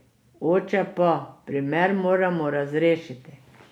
Oče pa: 'Primer moramo razrešiti'.